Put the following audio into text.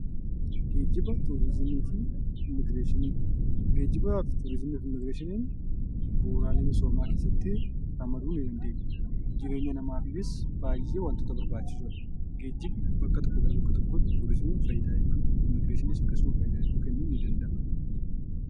Geejjiba , turizimii fi inooveeshiniin bu'uuraalee misoomaa keessatti ramaduu ni dandeenya. Jireenya namaafis baay'ee wanta barbaachisoodha. Geejjibni bakka tokkoo bakka biraatti akkasuma fayidaa hedduu kennuu ni danda'a.